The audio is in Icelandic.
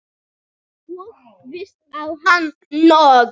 Og víst á hann nóg.